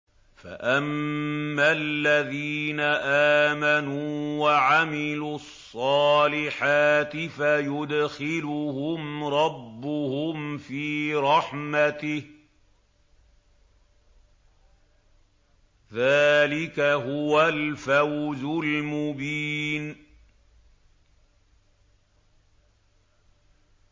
فَأَمَّا الَّذِينَ آمَنُوا وَعَمِلُوا الصَّالِحَاتِ فَيُدْخِلُهُمْ رَبُّهُمْ فِي رَحْمَتِهِ ۚ ذَٰلِكَ هُوَ الْفَوْزُ الْمُبِينُ